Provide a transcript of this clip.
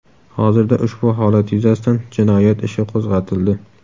Hozirda ushbu holat yuzasidan jinoyat ishi qo‘zg‘atildi.